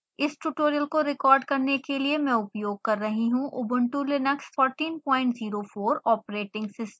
इस ट्यूटोरियल को रिकॉर्ड करने के लिए मैं उपयोग कर रही हूँ उबंटु लिनक्स 1404 ऑपरेटिंग सिस्टम